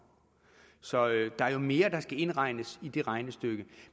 så der er jo mere der skal indregnes i det regnestykke